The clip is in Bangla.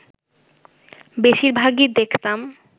বেশির ভাগই দেখতাম